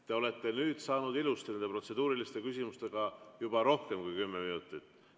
Te olete nüüd saanud ilusti nende protseduuriliste küsimustega juba rohkem kui kümme minutit kulutada.